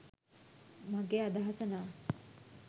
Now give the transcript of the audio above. මගෙ අදහස නම්